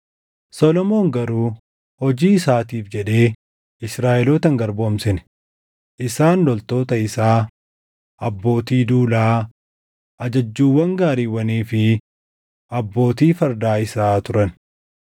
Solomoon garuu hojii isaatiif jedhee Israaʼeloota hin garboomsine; isaan loltoota isaa, abbootii duulaa, ajajjuuwwan gaariiwwanii fi abbootii fardaa isaa turan.